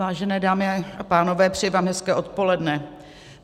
Vážené dámy a pánové, přeji vám hezké odpoledne.